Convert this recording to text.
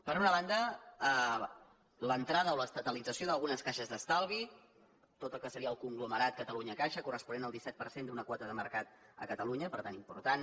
per una banda l’entrada o l’estatalització d’algunes caixes d’estalvi tot el que seria el conglomerat cata·lunyacaixa corresponent al disset per cent d’una quota de mercat a catalunya per tant important